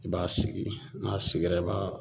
I b'a sigi n'a sigira i b'a